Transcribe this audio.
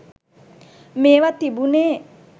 මේවා තිබුනෙ